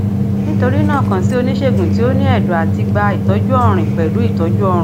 nitorina kan si onisegun ti o ni ẹdọ ati gba itọju ọrin pẹlu itọju ọrun